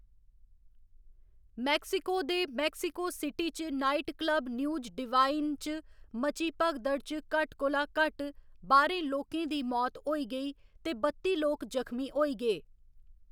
Mexico दे Mexico City च nightclub News Divine च मची भगदड़ च घट्ट कोला घट्ट बाह्‌रें लोकें दी मौत होई गेई ते बत्ती लोक जखमी होई गे।